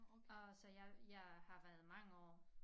Og så jeg jeg har været mange år